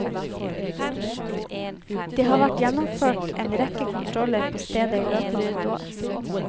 Det har vært gjennomført en rekke kontroller på stedet i løpet av et år.